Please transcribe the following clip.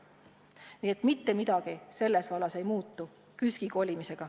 Nii et KÜSK-i kolimisega seoses mitte midagi selles vallas ei muutu.